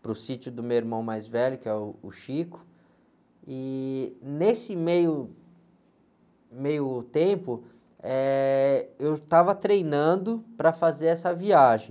para o sítio do meu irmão mais velho, que é uh, o, e nesse, meio meio tempo, eh, eu estava treinando para fazer essa viagem,